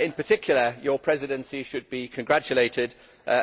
In particular your Presidency should be congratulated